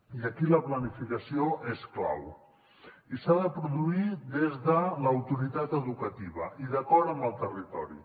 i aquí la planificació és clau i s’ha de produir des de l’autoritat educativa i d’acord amb el territori